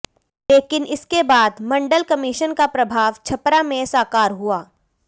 लेकिन इसके बाद मंडल कमीशन का प्रभाव छपरा में साकार हुआ